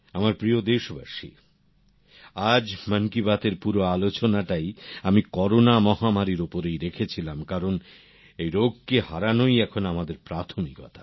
আমার প্রিয় দেশবাসী আজ মন কি বাত এর পুরো আলোচনাটাই আমি করোনা মহামারীর ওপরেই রেখেছিলাম কারণ এই রোগকে হারানোই এখন আমাদের প্রাথমিকতা